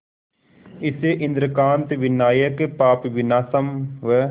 इसे इंद्रकांत विनायक पापविनाशम व